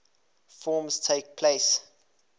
forms takes place